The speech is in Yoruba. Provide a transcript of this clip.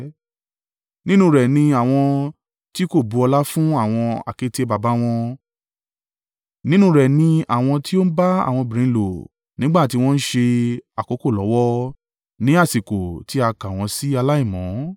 Nínú rẹ ní àwọn ti kò bu ọlá fún àwọn àkéte baba wọn; nínú rẹ ni àwọn tí o ń bá àwọn obìnrin lò nígbà tí wọ́n ń ṣe àkókò lọ́wọ́, ní àsìkò tí a ka wọn sì aláìmọ́.